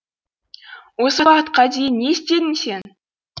осы уақытқа дейін не істедің сен